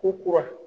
Ko kura